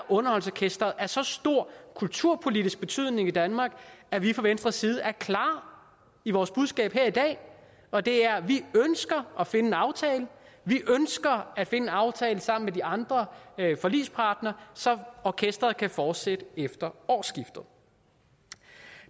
underholdningsorkestret er af så stor kulturpolitisk betydning i danmark at vi fra venstres side er klare i vores budskab her i dag og det er at vi ønsker at finde en aftale vi ønsker at finde en aftale sammen med de andre forligspartnere så orkestret kan fortsætte efter årsskiftet